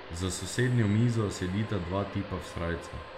Za sosednjo mizo sedita dva tipa v srajcah.